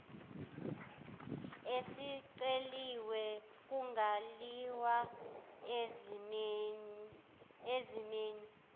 esiceliwe kungaliwa ezimeni